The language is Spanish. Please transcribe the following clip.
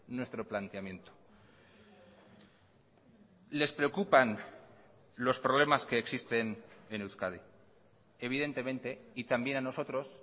nuestro planteamiento les preocupan los problemas que existen en euskadi evidentemente y también a nosotros